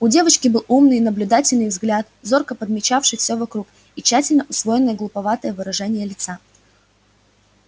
у девочки был умный наблюдательный взгляд зорко подмечавший всё вокруг и тщательно усвоенное глуповатое выражение лица